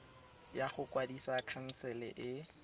ya go kwadisa khansele e